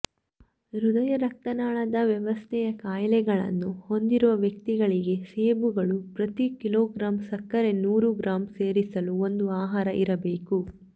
ಹೃದಯರಕ್ತನಾಳದ ವ್ಯವಸ್ಥೆಯ ಕಾಯಿಲೆಗಳನ್ನು ಹೊಂದಿರುವ ವ್ಯಕ್ತಿಗಳಿಗೆ ಸೇಬುಗಳು ಪ್ರತಿ ಕಿಲೋಗ್ರಾಂ ಸಕ್ಕರೆ ನೂರು ಗ್ರಾಂ ಸೇರಿಸಲು ಒಂದು ಆಹಾರ ಇರಬೇಕು